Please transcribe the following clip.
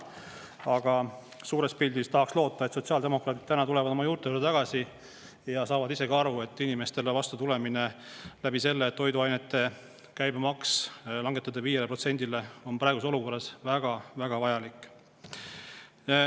Aga suures pildis tahaks loota, et sotsiaaldemokraadid tulevad täna oma juurte juurde tagasi ja saavad ise ka aru, et inimestele vastutulemine sel moel, et toiduainete käibemaks langetada 5%-le, on praeguses olukorras väga-väga vajalik.